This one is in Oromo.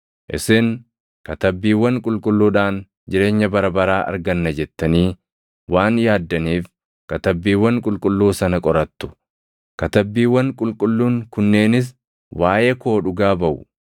Isin Katabbiiwwan Qulqulluudhaan jireenya bara baraa arganna jettanii waan yaaddaniif Katabbiiwwan Qulqulluu sana qorattu. Katabbiiwwan Qulqulluun kunneenis waaʼee koo dhugaa baʼu;